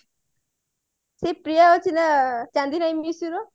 ସେ ପ୍ରିୟା ଥିଲା Chandini miss you ର